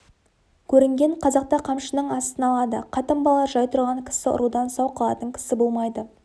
көрінген қазақты қамшының астына алады қатын-бала жай тұрған кісі ұрудан сау қалатын кісі болмайды